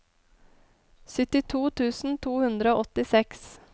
syttito tusen to hundre og åttiseks